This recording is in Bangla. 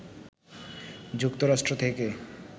যুক্তরাষ্ট্র থেকে